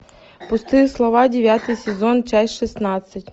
пустые слова девятый сезон часть шестнадцать